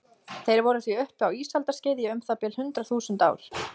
Þeir voru því uppi á ísaldarskeiði í um það bil hundrað þúsund ár.